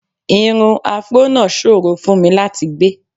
Irun afró náà ṣòro fún mi láti gbé